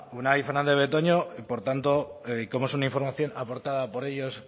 unai fernandez de betoño por tanto como es una información aportada por ellos